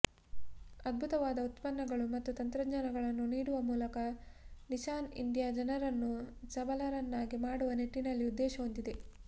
ಅದ್ಭುತವಾದ ಉತ್ಪನ್ನಗಳು ಮತ್ತು ತಂತ್ರಜ್ಞಾನಗಳನ್ನು ನೀಡುವ ಮೂಲಕ ನಿಸಾನ್ ಇಂಡಿಯಾ ಜನರನ್ನು ಸಬಲರನ್ನಾಗಿ ಮಾಡುವ ನಿಟ್ಟಿನಲ್ಲಿ ಉದ್ದೇಶ ಹೊಂದಿದೆ